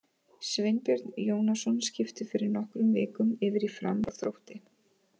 Sveinbjörn Jónasson skipti fyrir nokkrum vikum yfir í Fram frá Þrótti.